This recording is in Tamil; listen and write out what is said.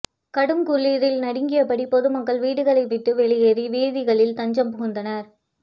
கடுங்குளிரில் நடுங்கியபடி பொதுமக்கள் வீடுகளை விட்டு வெளியேறி வீதிகளில் தஞ்சம் புகுந்தனர்